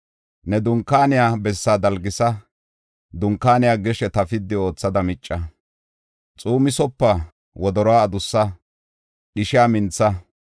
Ne dunkaaniya bessaa dalgisa; dunkaaniya gesheta piddi oothada micca; xuumisopa; wodoruwa adussa; dhishiya mintha.